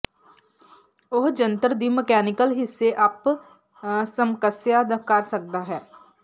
ਉਹ ਜੰਤਰ ਦੀ ਮਕੈਨੀਕਲ ਹਿੱਸੇ ਅੱਪ ਸਮਕਸਆ ਕਰ ਸਕਦਾ ਹੈ